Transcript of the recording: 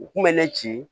U kun bɛ ne ci